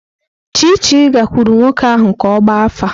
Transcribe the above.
Chichi gakwuru nwoke ahu ka ogba afa.